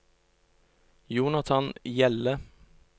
Jonathan Hjelle